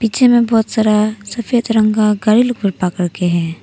पीछे में बहुत सारा सफेद रंग का करके है।